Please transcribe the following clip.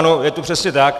Ano, je to přesně tak.